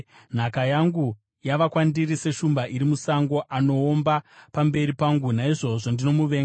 Nhaka yangu yava kwandiri seshumba iri musango. Anoomba pamberi pangu; naizvozvo ndinomuvenga.